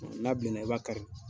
N'a bilenna i b'a kari.